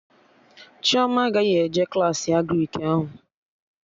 Chioma agaghị eje Klassị Agrịk ahụ